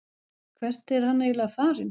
Hvert er hann eiginlega farinn?